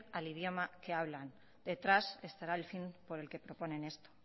al idioma que hablan detrás estará el fin por el que proponen esto